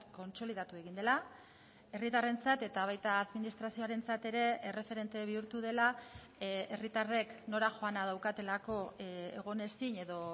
kontsolidatu egin dela herritarrentzat eta baita administrazioarentzat ere erreferente bihurtu dela herritarrek nora joana daukatelako egon ezin edo